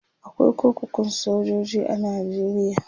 akwai kurkukun sojoji a nigeria